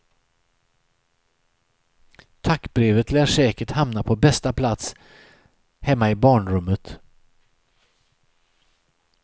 Tackbrevet lär säkert hamna på bästa plats hemma i barnrummet.